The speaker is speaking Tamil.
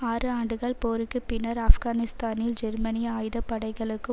ஆறு ஆண்டுகள் போருக்கு பின்னர் ஆப்கானிஸ்தானில் ஜெர்மனிய ஆயுத படைகளுக்கு